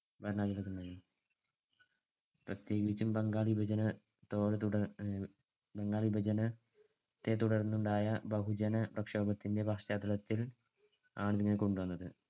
ഭരണാധികാരികൾക്ക് ഉണ്ടായി. പ്രതേകിച്ചും ബംഗാൾ വിഭജനത്തോട്~ ബംഗാൾ വിഭജന ത്തെ തുടർന്നുണ്ടായ ബഹുജനപ്രക്ഷോഭത്തിന്‍ടെ പശ്ചാത്തലത്തിൽ ആണ് ഇതിനെ കൊണ്ടുവന്നത്.